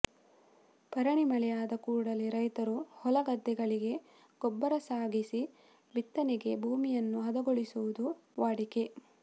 ಭರಣಿ ಮಳೆ ಆದ ಕೂಡಲೇ ರೈತರು ಹೊಲಗದ್ದೆಗಳಿಗೆ ಗೊಬ್ಬರ ಸಾಗಿಸಿ ಬಿತ್ತನೆಗೆ ಭೂಮಿಯನ್ನು ಹದಗೊಳಿಸಿಕೊಳ್ಳುವುದು ವಾಡಿಕೆ